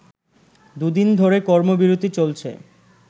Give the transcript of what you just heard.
দু’দিন ধরে কর্মবিরতি চলছে